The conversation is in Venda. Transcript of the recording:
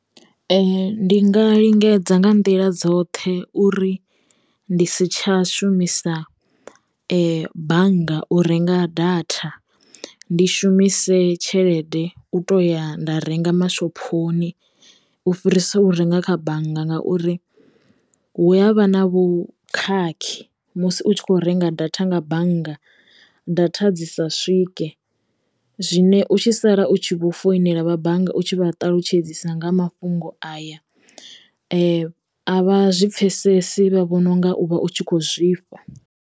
Ndi ndi nga lingedza nga nḓila dzoṱhe uri ndi si tsha shumisa bannga u renga data ndi shumise tshelede u to ya nda renga mashophoni u fhirisa u renga kha bannga ngauri hu yavha na vhukhakhi musi u tshi kho renga data nga bannga data dzisa swike zwine u tshi sala u tshi vho foinela vha bannga u tshi vha ṱalutshedza nga mafhungo aya a vha zwi pfhesesi vha vhona u nga u vha u tshi khou zwifha.